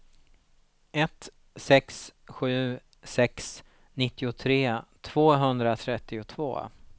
ett sex sju sex nittiotre tvåhundratrettiotvå